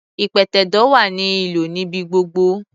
Ìpẹ̀tẹ̀do wá ní ìlò níbi gbogbo.